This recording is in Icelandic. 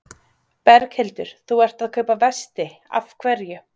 Berghildur: Þú ert að kaupa vesti, af hverju?